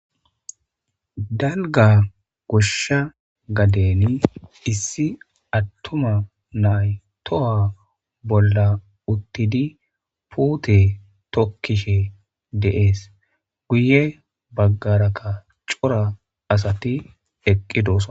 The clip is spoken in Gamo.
dalga goshsha gaden issi attuma nay toha bolla uttidi puute tokkishe deees guye baggarakka cora asati eqqi doosa